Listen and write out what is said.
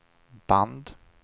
band